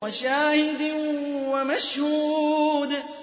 وَشَاهِدٍ وَمَشْهُودٍ